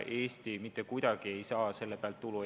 Eesti mitte kuidagi ei saa selle pealt tulu.